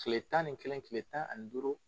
kile tan ni kelen tile tan ani duuru